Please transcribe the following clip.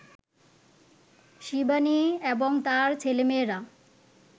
শিবানী এবং তাঁর ছেলেমেয়েরা